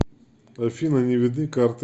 афина не видны карты